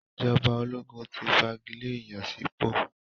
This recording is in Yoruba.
Ìjọba ológun ti fagilé ìyànsípò.